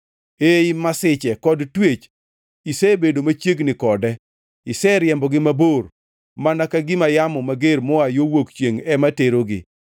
Ei masiche kod twech isebedo machiegni kode, iseriembogi mabor, mana ka gima yamo mager moa yo wuok chiengʼ ema terogi.